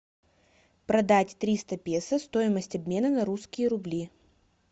продать триста песо стоимость обмена на русские рубли